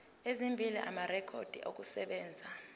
ezimbili amarekhodi okusebenza